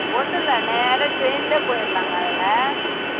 ஒண்ணும் இல்ல நேரா train லயே போயிரலாங்க அதுல